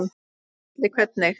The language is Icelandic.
Gísli: Hvernig?